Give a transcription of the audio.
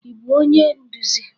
Ị bụ onye nduzi?